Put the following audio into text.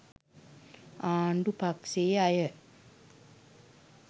ආණ්ඩු පක්ෂයේ අය